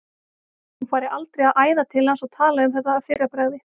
Hún færi aldrei að æða til hans og tala um þetta að fyrra bragði.